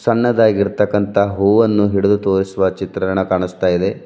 ಸಣ್ಣದಾಗಿರ್ತಕ್ಕಂತ ಹೂವನ್ನು ಹಿಡದು ತೋರಿಸುವ ಚಿತ್ರಣ ಕಾಣಿಸ್ತಾ ಇದೆ.